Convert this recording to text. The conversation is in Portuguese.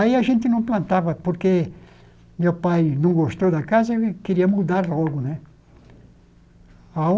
Aí a gente não plantava, porque meu pai não gostou da casa e queria mudar logo, né?